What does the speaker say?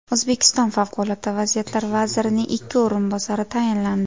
O‘zbekiston favqulodda vaziyatlar vazirining ikki o‘rinbosari tayinlandi.